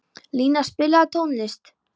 Lína, spilaðu tónlist.